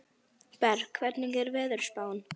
Berg, hvernig er veðurspáin?